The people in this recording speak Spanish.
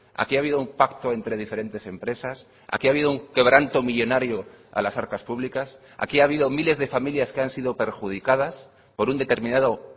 aquí ha habido un pacto entre diferentes empresas aquí ha habido un quebranto millónario a las arcas públicas aquí ha habido miles de familias que han sido perjudicadas por un determinado